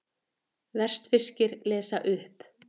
Vestfirskir lesa upp